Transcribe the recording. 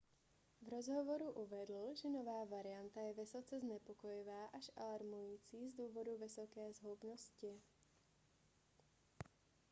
v rozhovoru uvedl že nová varianta je vysoce znepokojivá až alarmující z důvodu vysoké zhoubnosti